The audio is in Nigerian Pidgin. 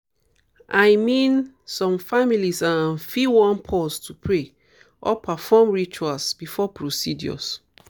i mean some families um fit wan pause to pray or perform rituals before procedures.